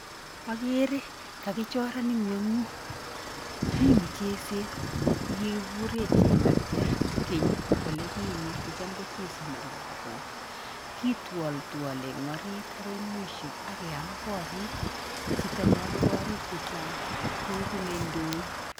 Akere kakichoran ing'weng'ut. Mi mucheset nekikigure chematyar keny ole kinye, kicham kochesoni lagook. Kitwoltwole eng orit akoi mwisho ak keam korik. Chito neame korik chechang koegu neindoi.